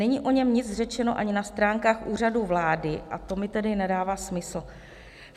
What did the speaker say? Není o něm nic řečeno ani na stránkách Úřadu vlády a to mi tedy nedává smysl.